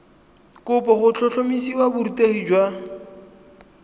kopo go tlhotlhomisa borutegi jwa